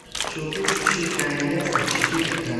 щелкунчик четыре королевства четыре ка